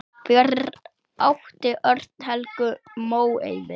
Fyrir átti Örn Helgu Móeiði.